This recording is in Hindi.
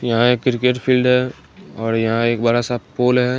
यहाँ एक क्रिकेट फिल्ड है औड़ यहाँ एक बड़ा सा पोल है।